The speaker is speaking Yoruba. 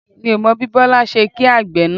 Mi ò mọ bí Bọlá ṣe kí àgbẹ̀ náà